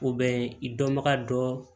O bɛ i dɔnbaga dɔ